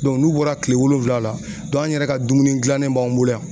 n'u bɔra tile wolonwula la an yɛrɛ ka dumuni gilannen b'an bolo yan.